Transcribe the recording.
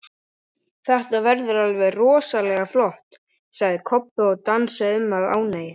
Þetta verður alveg rosalega flott, sagði Kobbi og dansaði um af ánægju.